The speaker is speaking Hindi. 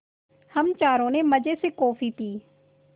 हम चारों ने मज़े से कॉफ़ी पी